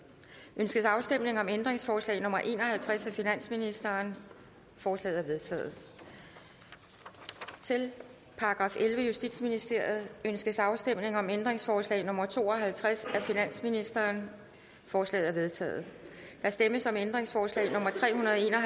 ønskes afstemning om ændringsforslag nummer en og halvtreds af finansministeren forslaget er vedtaget til § ellevte justitsministeriet ønskes afstemning om ændringsforslag nummer to og halvtreds af finansministeren forslaget er vedtaget der stemmes om ændringsforslag nummer tre hundrede og en og